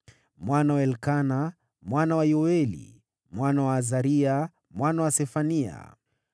mwana wa Elikana, mwana wa Yoeli, mwana wa Azaria, mwana wa Sefania,